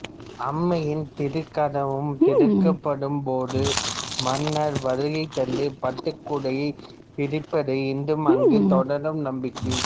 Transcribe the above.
அம்மையின் திருக்கதவம் திறக்கப்படும் போது மன்னர் வருகை தந்து பட்டுக்குடையை விரிப்பது இன்றும் அங்கு தொடரும் நம்பிக்கை